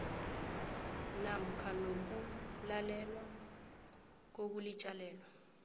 namkha nokulalelwa kokulitjalelwa